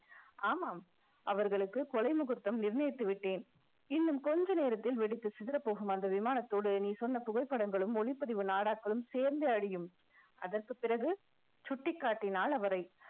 ஆமாம் அவர்களுக்கு கொலை முகூர்த்தம் நிர்ணயித்து விட்டேன் இன்னும் கொஞ்ச நேரத்தில் வெடித்து சிதறப்போகும் அந்த விமானத்தோடு நீ சொன்ன புகைப்படங்களும் ஒளிப்பதிவு நாடாக்களும் சேர்ந்தே அழியும் அதற்குப் பிறகு சுட்டிக் காட்டினால் அவரை